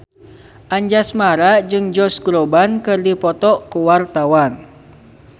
Anjasmara jeung Josh Groban keur dipoto ku wartawan